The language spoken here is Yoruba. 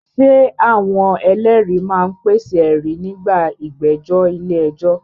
Ṣé àwọn ẹlẹ́rìí máa ń pèsè ẹ̀rí nígbà ìgbẹ́jọ́ ilé ẹjọ́?